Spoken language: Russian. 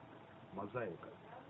мозаика